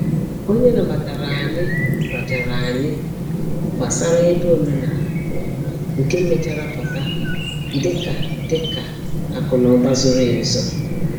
Onye nabatara anyị gwakwara anyị gbasara ebe omenaala, nke mechara pụta dị ka dị ka akụnụba zoro ezo.